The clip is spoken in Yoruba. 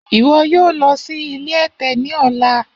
Iwọ yoo lọ si ile ẹtẹ ni ọla!